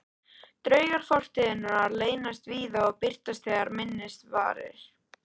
Draugar fortíðarinnar leynast víða og birtast þegar minnst varir.